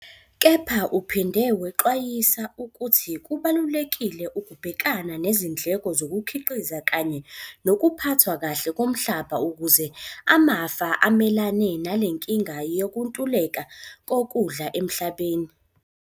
Kepha uphinde wexwayisa ukuthi kubalulekile ukubhekana nezindleko zokukhiqiza kanye nokuphathwa kahle komhlaba ukuze amafama amelane nale nkinga yokuntuleka kokudla emhlabeni.